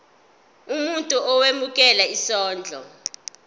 umuntu owemukela isondlo